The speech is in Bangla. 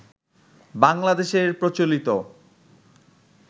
বাংলাদেশের প্রচলিত